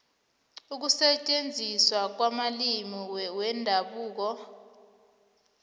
ukusetjenziswa kwamalimi wendabuko